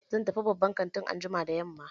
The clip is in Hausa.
Zan tafi babban kantin anjima da yamma.